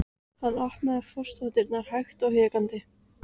Hann opnaði forstofudyrnar hægt og hikandi.